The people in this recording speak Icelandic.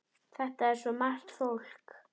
Þetta er svo margt fólk.